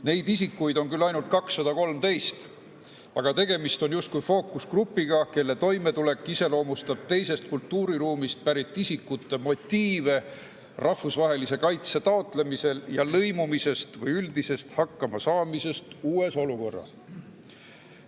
Neid isikuid on küll ainult 213, aga tegemist on justkui fookusgrupiga, kelle toimetulek iseloomustab teisest kultuuriruumist pärit isikute motiive rahvusvahelise kaitse taotlemisel ja nende lõimumist või üldist hakkamasaamist uues olukorras.